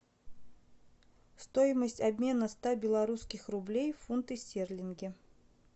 стоимость обмена ста белорусских рублей в фунты стерлинги